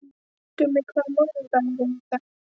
Gummi, hvaða mánaðardagur er í dag?